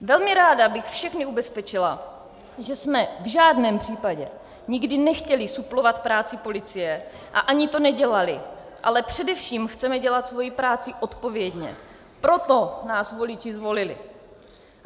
Velmi ráda bych všechny ubezpečila, že jsme v žádném případě nikdy nechtěli suplovat práci policie a ani to nedělali, ale především chceme dělat svoji práci odpovědně, proto nás voliči zvolili.